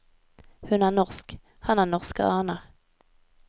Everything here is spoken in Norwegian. Hun er norsk, han har norske aner.